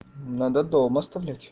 надо дома оставлять